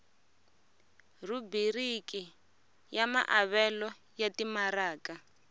rhubiriki ya maavelo ya timaraka